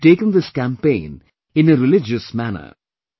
They have taken this campaign in a religious manner